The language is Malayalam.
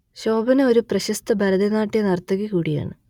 ശോഭന ഒരു പ്രശസ്ത ഭരതനാട്യ നർത്തകി കൂടിയാണ്